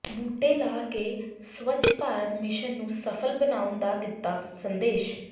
ਬੂਟੇ ਲਾ ਕੇ ਸਵੱਛ ਭਾਰਤ ਮਿਸ਼ਨ ਨੂੰ ਸਫ਼ਲ ਬਣਾਉਣ ਦਾ ਦਿੱਤਾ ਸੰਦੇਸ਼